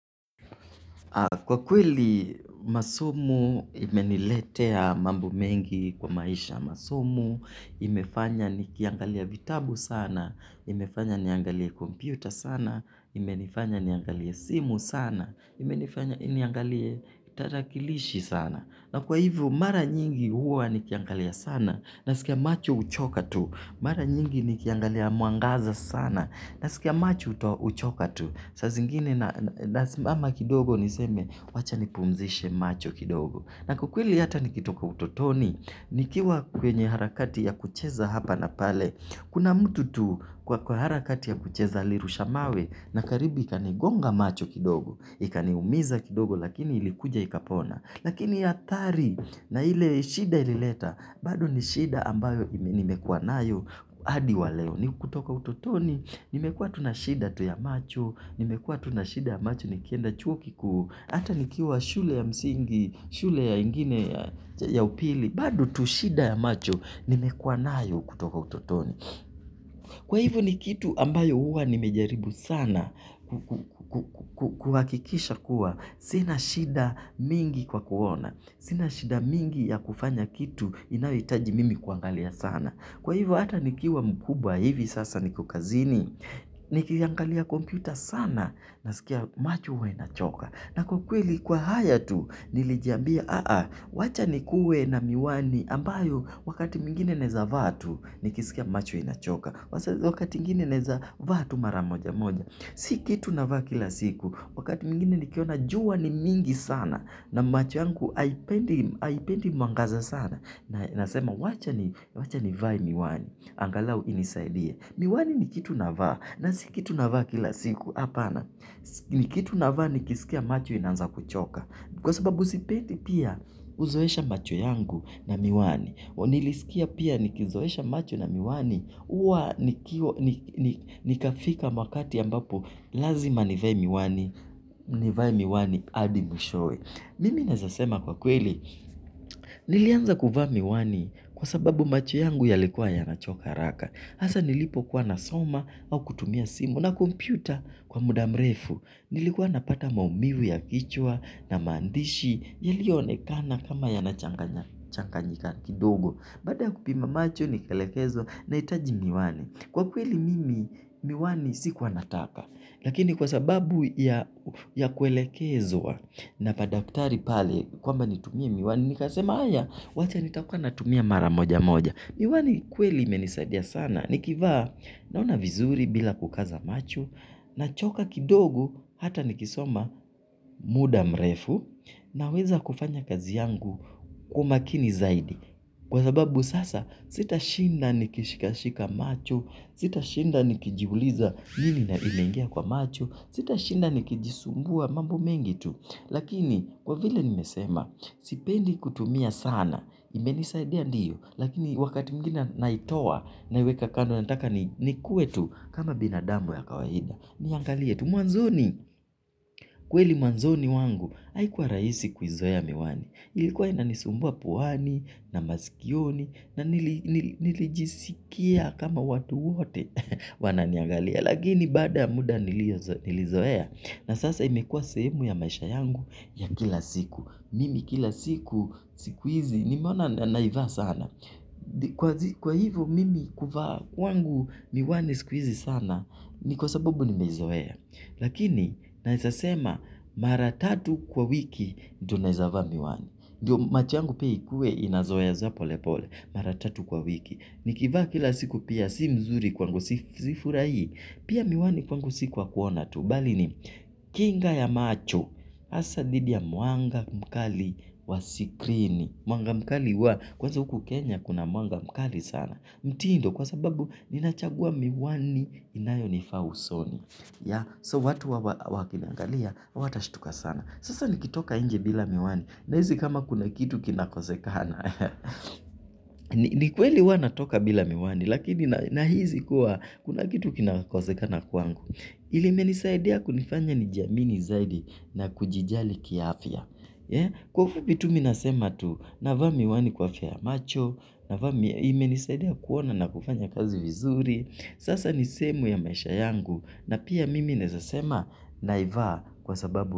Kwa kweli masomo imeniletea mambo mengi kwa maisha masomo, imefanya nikiangalia vitabu sana, imefanya niangalie kompyuta sana, imenifanya niangalie simu sana, imenifanya niangalie tarakilishi sana. Na kwa hivyo mara nyingi huwa ni kiangalia sana nasikia macho huchoka tu. Mara nyingi ni kiangalia muangaza sana na sikia macho uchoka tu. Saa zingine nasimama kidogo niseme wacha nipumzishe macho kidogo. Na kwa kweli hata nikitoka utotoni nikiwa kwenye harakati ya kucheza hapa na pale. Kuna mtu tu kwa kwa harakati ya kucheza alirusha mawe na karibu ikanigonga macho kidogo. Ikaniumiza kidogo lakini ilikuja ikapona. Lakini ya athari na ile shida ilileta, bado ni shida ambayo nimekuwa nayo hadi waleo. Ni kutoka utotoni, nimekuwa tu na shida tu ya macho, nimekuwa tu na shida macho nikienda chuo kikuu, ata nikiwa shule ya msingi, shule ya ingine ya upili, bado tu shida ya macho, nimekuwa nayo kutoka utotoni. Kwa hivyo ni kitu ambayo huwa nimejaribu sana kuhakikisha kuwa. Sina shida mingi kwa kuona. Sina shida mingi ya kufanya kitu inayohitaji mimi kuangalia sana. Kwa hivyo hata nikiwa mkubwa hivi sasa niko kazini. Nikiangalia kompyuta sana nasikia macho huwa inachoka. Na kwa kweli kwa haya tu nilijiambia, wacha nikuwe na miwani ambayo wakati mwingine naweza vaa tu nikisikia macho inachoka. Wakati mwingine naweza vaa tu mara moja moja. Si kitu navaa kila siku, wakati mwingine nikiona jua ni mingi sana na macho yangu haipendi mwangaza sana. Nasema wacha nivae miwani, angalau inisaidie. Miwani ni kitu navaa, na si kitu navaa kila siku, hapana, ni kitu navaa nikisikia macho inaanza kuchoka, kwa sababu sipendi pia kuzoesha macho yangu na miwani, nilisikia pia nikizoesha macho na miwani, huwa nikafika wakati ambapo lazima nivae miwani, nivae miwani hadi mwishoe. Mimi nawezasema kwa kweli, nilianza kuvaa miwani kwa sababu macho yangu yalikuwa yanachoka haraka. Hasaa nilipokuwa nasoma au kutumia simu na kompyuta kwa muda mrefu. Nilikuwa napata maumivu ya kichwa na maandishi yaliyoonekana kama yanachanganyika kidogo. Baada kupima macho ni kelekezwa nahitaji miwani. Kwa kweli mimi miwani sikuanataka. Lakini kwa sababu ya ya kuelekezwa na madktari pale kwamba nitumie miwani. Nikasema haya wacha nitakuanatumia mara moja moja. Miwani kweli imenisadia sana ni kivaa naona vizuri bila kukaza macho nachoka kidogo hata nikisoma muda mrefu na weza kufanya kazi yangu kumakini zaidi. Kwa sababu sasa sitashinda nikishikashika macho, sitashinda nikijiuliza nini na imengia kwa macho, sitashinda ni kijisumbua mambo mengi tu. Lakini kwa vile nimesema, sipendi kutumia sana, imenisaidia ndiyo, lakini wakati mwigine naitoa naiweka kando nataka nikue tu kama binadamu wa kawaida. Mwangalie, tu mwanzoni, kweli mwanzoni wangu, haikuwa rahisi kuizoea miwani. Ilikuwa inanisumbua puani, na masikioni, na nilijisikia kama watu wote wananiangalia. Lakini baada muda nilizoea. Na sasa imekua sehemu ya maisha yangu ya kila siku. Mimi kila siku, siku hizi, nimeona naivaa sana. Kwa hivyo mimi kuvaa kwangu miwani siku hizi sana. Ni kwa sababu nimezoea. Lakini nawezasema mara tatu kwa wiki ndio nawezavaa miwani. Macho yangu pia ikuwe inazoe zoea pole pole. Mara tatu kwa wiki. Nikivaa kila siku pia si mzuri kwangu sifurahii. Pia miwani kwangu si kwakuona tu, bali ni kinga ya macho hasa dhidi mwanga mkali wa sikrini. Mwanga mkali wa kwanza huku Kenya kuna mwanga mkali sana. Mtindo kwa sababu ninachagua miwani inayonifaa usoni. Sasa watu wakiniangalia hawatashtuka sana, sasa nikitoka inje bila miwani nahisi kama kuna kitu kinakosekana. Nikweli huanatoka bila miwani. Lakini nahisikua kuna kitu kinakosekana kwangu limenisaidia kunifanya nijamini zaidi na kujijali kiafya, kwa ufupi tu mimi nasema tu. Navaa miwani kwa afya ya macho. Navaa miwani imenisaidia kuona na kufanya kazi vizuri. Sasa nisehemu ya maisha yangu. Na pia mimi nawezasema naivaa kwa sababu.